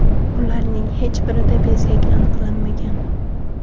Ularning hech birida bezgak aniqlanmagan.